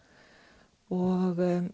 og